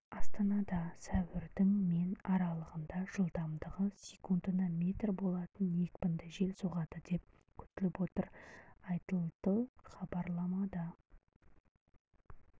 астанада сәуірдің мен аралығында жылдамдығы секундына метр болатын екпінді жел соғады деп күтіліп отыр айтылды хабарламада